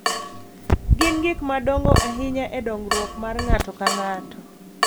Gin gik madongo ahinya e dongruok mar ng’ato ka ng’ato